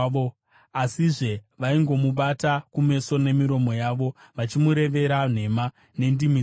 Asizve vaingomubata kumeso nemiromo yavo, vachimurevera nhema nendimi dzavo;